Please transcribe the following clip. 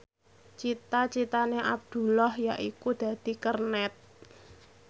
cita citane Abdullah yaiku dadi kernet